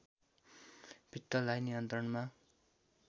पित्तलाई नियन्त्रणमा